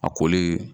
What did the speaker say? A koli